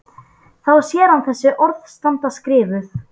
Þá sér hann þessi orð standa skrifuð: